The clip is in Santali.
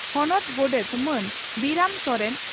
ᱦᱚᱱᱚᱛ ᱜᱚᱰᱮᱛ ᱢᱟᱱ ᱵᱤᱨᱟᱹᱢ ᱥᱚᱨᱮᱱ